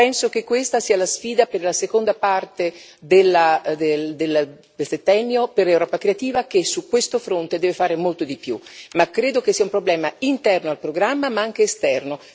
Penso che questa sia la sfida per la seconda parte del settennio per Europa creativa che su questo fronte deve fare molto di più, ma credo che sia un problema interno al programma, ma anche esterno.